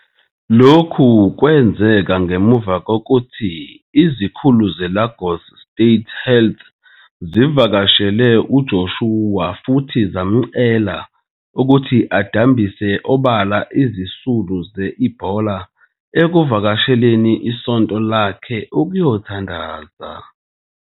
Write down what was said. Lokhu kwenzeke ngemuva kokuthi izikhulu zeLagos State Health zivakashele uJoshua futhi zamcela ukuthi adambise obala izisulu ze-Ebola ekuvakasheleni isonto lakhe ukuyothandaza.